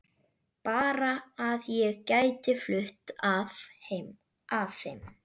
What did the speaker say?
Bara að ég gæti flutt að heiman